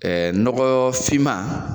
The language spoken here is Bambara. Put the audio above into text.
nɔgɔ finma